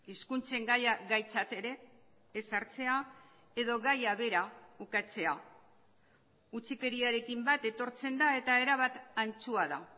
hizkuntzen gaia gaitzat ere ez hartzea edo gaia bera ukatzea utzikeriarekin bat etortzen da eta erabat antzua da